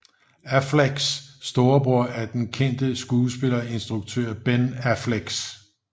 Afflecks storebror er den kendte skuespiller og instruktør Ben Affleck